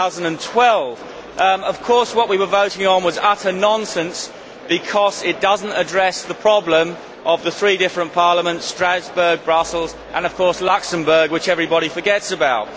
2012. Of course, what we were voting on was utter nonsense, because it does not address the problem of the three different parliaments Strasbourg, Brussels and, of course, Luxembourg, which everybody forgets about.